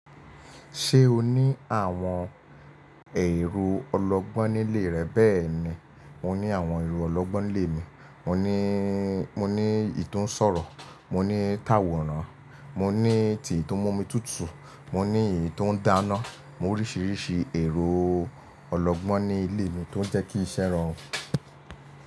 Ṣé o ní àwọn èrò ọlọ́gbọ́n nílé rẹ bẹ́ẹ̀ni, mo ní àwọn èrò ọlọ́gbọ́n nílé mi. Mo ní, mo ní ì to ń sọ̀rọ̀, mo ní táwọ̀nràn, mo ní tì tó ń mú omi tùtù, mo ní èyí tó ń dáná. Mo ní oríṣiríṣi èrò ọlọ́gbọ́n ní ilé mi tó ń jẹ́kí ìṣẹ́ rorun.